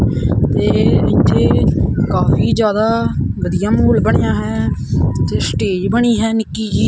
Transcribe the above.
ਤੇ ਇੱਥੇ ਕਾਫੀ ਜਿਆਦਾ ਵਧੀਆ ਮਾਹੌਲ ਬਣਿਆ ਹੈ ਪਿੱਛੇ ਸਟੇਜ ਬਣੀ ਹੈ ਨਿੱਕੀ ਜੀ।